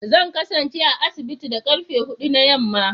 Zan kasance a asibiti da karfe hudu na yamma